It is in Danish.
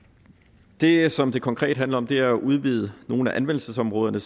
det som det konkret handler om er jo at udvide nogle af anvendelsesområderne